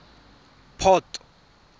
port